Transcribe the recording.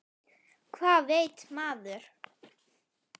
Hvað veit maður?